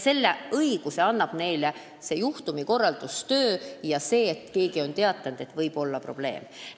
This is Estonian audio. Selle õiguse annab neile juhtumikorralduse töö ja see, et keegi on teatanud, et seal võib olla probleeme.